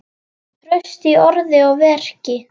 Traust í orði og verki.